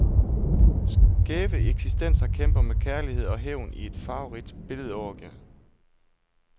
Skæve eksistenser kæmper med kærlighed og hævn i et farverigt billedorgie.